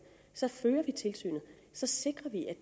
så fører vi tilsynet så sikrer vi at